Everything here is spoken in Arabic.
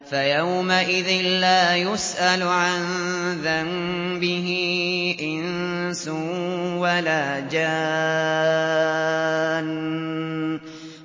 فَيَوْمَئِذٍ لَّا يُسْأَلُ عَن ذَنبِهِ إِنسٌ وَلَا جَانٌّ